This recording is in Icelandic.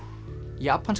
japanska